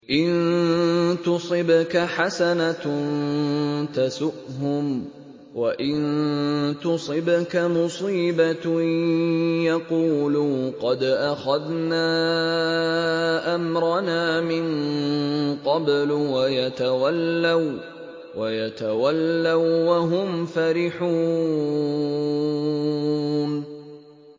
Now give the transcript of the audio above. إِن تُصِبْكَ حَسَنَةٌ تَسُؤْهُمْ ۖ وَإِن تُصِبْكَ مُصِيبَةٌ يَقُولُوا قَدْ أَخَذْنَا أَمْرَنَا مِن قَبْلُ وَيَتَوَلَّوا وَّهُمْ فَرِحُونَ